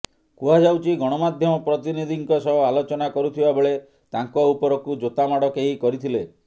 କୁହାଯାଉଛି ଗଣାମାଧ୍ୟମ ପ୍ରତିନିଧିଙ୍କ ସହ ଆଲୋଚନା କରୁଥିବା ବେଳେ ତାଙ୍କ ଉପରକୁ ଜୋତା ମାଡ କେହି କରିଥିଲେ